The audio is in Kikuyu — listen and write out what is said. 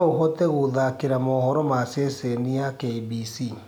noũhote gutthakira mohoro ma sesheni ya K.B.C